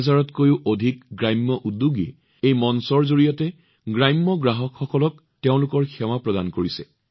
৯০০০তকৈও অধিক গ্ৰামোদ্যোগীয়ে গ্ৰামীণ গ্ৰাহকসকলক তেওঁলোকৰ সেৱা প্ৰদান কৰি আছে